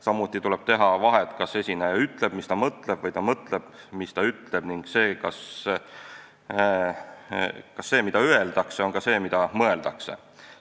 Samuti tuleb teha vahet, kas esineja ütleb, mis ta mõtleb, või ta mõtleb, mis ta ütleb, ning kas see, mida öeldakse, on ka see, mida mõeldakse.